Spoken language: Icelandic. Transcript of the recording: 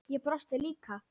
Ég brosti líka.